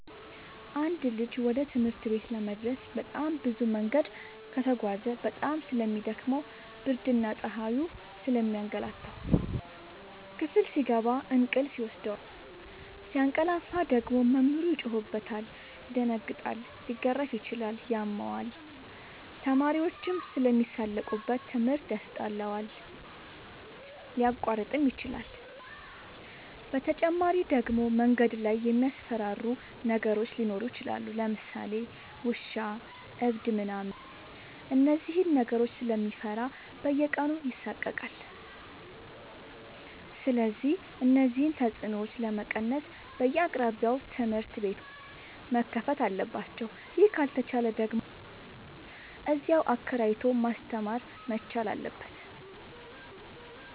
አንድ ልጅ ወደ ትምህርት ቤት ለመድረስ በጣም ብዙ መንገድ ከተጓዘ በጣም ስለሚ ደክመው ብርድና ፀሀዩ ስለሚያገላታው። ክፍል ሲገባ እንቅልፍ ይወስደዋል። ሲያቀላፍ ደግሞ መምህሩ ይጮህበታል ይደነግጣል ሊገረፍም ይችላል ያመዋል፣ ተማሪዎችም ስለሚሳለቁበት ትምህርት ያስጠላዋል፣ ሊያቋርጥም ይችላል። በተጨማሪ ደግሞ መንገድ ላይ የሚያስፈራሩ ነገሮች ሊኖሩ ይችላሉ ለምሳሌ ውሻ እብድ ምናምን እነዚህን ነገሮች ስለሚፈራ በየቀኑ ይሳቀቃል። ስለዚህ እነዚህን ተፅኖዎች ለመቀነስ በየአቅራቢያው ትምህርት ቤቶዎች መከፈት አለባቸው ይህ ካልተቻለ ደግሞ እዚያው አከራይቶ ማስተማር መቻል አለበት።